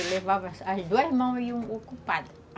Eu levava as duas mãos iam ocupadas